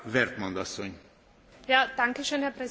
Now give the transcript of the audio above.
Herr Präsident, sehr geehrte Kolleginnen und Kollegen!